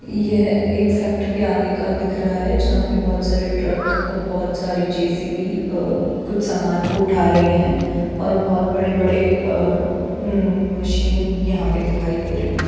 यह एक फैक्ट्री के आगे का दिख रहा है जहाँ बहुत सारे ट्रक अ बहुत सारी जे. सी. बी. अअअ कुछ सामान को उठा रही है और बहुत बड़े-बड़े अ उम मशीन यहाँ पर दिखाई दे रही है।